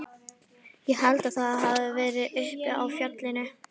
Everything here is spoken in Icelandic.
Ég held að það hafi verið uppi á fjallinu.